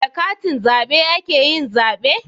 Da katin zabe ake yin zabe